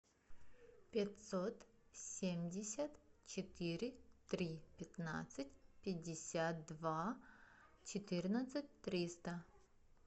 пятьсот семьдесят четыре три пятнадцать пятьдесят два четырнадцать триста